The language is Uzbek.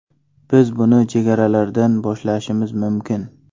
Biz buni chegaralardan boshlashimiz mumkin.